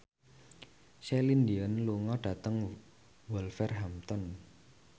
Celine Dion lunga dhateng Wolverhampton